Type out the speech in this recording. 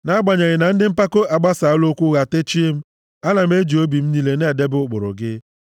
Nʼagbanyeghị na ndị mpako a gbasaala okwu ụgha techie m, ana m eji obi m niile na-edebe ụkpụrụ gị.